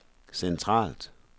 centralt